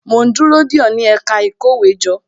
Mo ń dúró dè ó, ní ẹ̀ka ìkówéjọ